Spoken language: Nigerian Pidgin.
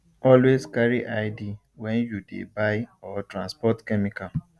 always carry id when you dey buy or transport chemical